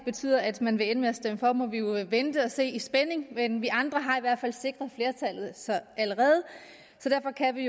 betyder at man ender med at stemme for må vi jo vente og se i spænding men vi andre har i hvert fald allerede sikret flertallet så derfor kan vi